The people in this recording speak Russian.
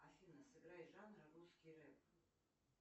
афина сыграй жанр русский рэп